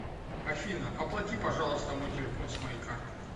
афина оплати пожалуйста мой телефон с моей карты